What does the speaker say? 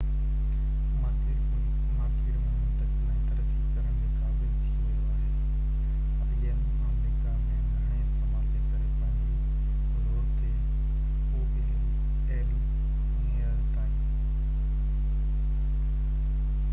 هينئر تائين aol آمريڪا ۾ گهڻي استعمال جي ڪري پنهنجي زور تي im مارڪيٽ ۾ منتقل ۽ ترقي ڪرڻ جي قابل ٿي ويو آهي